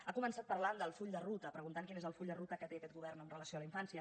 ha començat parlant del full de ruta preguntant quin és el full de ruta que té aquest govern amb relació a la infància